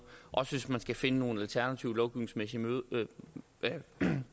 også hvis man skal finde nogle alternative lovgivningsmæssige